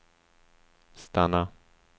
stanna